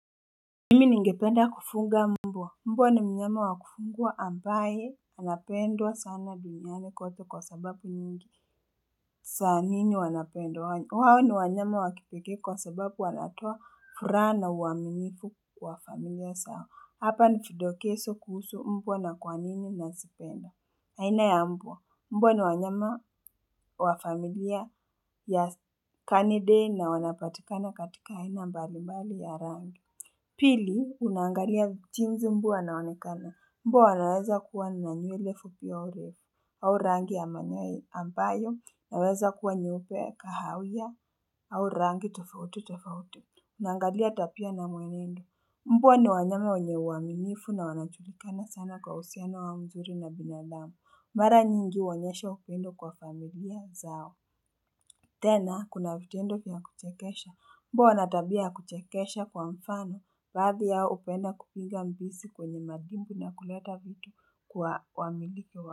Nimi ningependa kufuga mbwa mbwa ni minyama wakufugua ambaye anapendwa sana duniani kote kwa sababu nyingi saa nini wanapendwa wao ni wanyama wakipekee kwa sababu wanatoa furaha na uaminifu kwa familia zao hapa vidokezo kuhusu mbwa na kwa nini nasipenda haina ya mbwa mbwa ni wanyama wa familia ya kanide na wanapatikana katika haina mbali mbali ya rangi Pili, unangalia jinsi mbwa anaonekana, mbwa anaweza kuwa na nywele fupi au refu, au rangi ya manyoa ambayo, naweza kuwa nyupe kahaunya, au rangi tofauti tofauti, naangalia tabia na mwenendo, mbwa ni wanyama wenye uaminifu na wanajulikana sana kwa uhusiano wa mzuri na binadamu, mara nyingi uwanyesha upendo kwa familia zao. Tena, kuna vitendo vya kuchekesha, mbwa wanatabia kuchekesha kwa mfano, badhi yao hupenda kupinga mbisi kwenye madimbw na kuleta vitu kwa wamiliki wao.